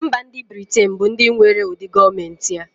Mba ndi britain bu ndi nwere ụdị gọọmenti a.